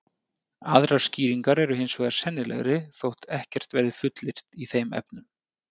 Aðrar skýringar eru hins vegar sennilegri þótt ekkert verði fullyrt í þeim efnum.